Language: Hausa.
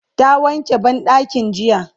ta wanke banɗakin jiya